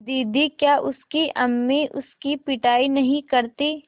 दीदी क्या उसकी अम्मी उसकी पिटाई नहीं करतीं